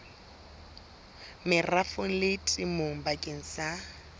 merafong le temong bakeng sa